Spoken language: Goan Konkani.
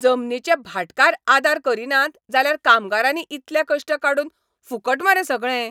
जमनीचे भाटकार आदार करिनात जाल्यार कामगारांनी इतले कश्ट काडून फुकट मरे सगळें!